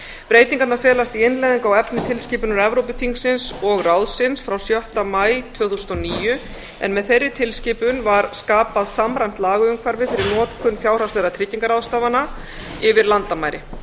breytingarnar felast í innleiðingu á efni tilskipunar evrópuþingsins og ráðsins frá sjötta maí tvö þúsund og níu en með þeirri tilskipun var skapað samræmt lagaumhverfi fyrir notkun fjárhagslegra tryggingarráðstafana yfir landamæri